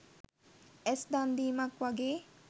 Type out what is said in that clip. ඇස් දන් දීමක් වගේ